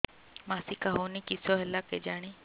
ମାସିକା ହଉନି କିଶ ହେଲା କେଜାଣି